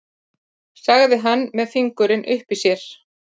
sagði hann með fingurinn uppi í sér.